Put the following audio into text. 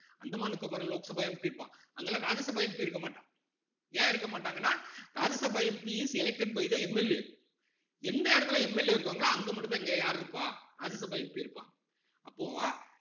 Andaman நிக்கோபார்ல Lok Sabha MP இருப்பான் அங்கெல்லாம் Rajya Sabha MP இருக்க மாட்டான் ஏன் இருக்க மாட்டாங்கன்னா Rajya Sabha MPis elected by theMLA எந்த இடத்துல MLA இருக்காங்களோ அங்க மட்டும்தான் இங்க யாரு இருப்பா ராஜ்யசபா MP இருப்பான் அப்போ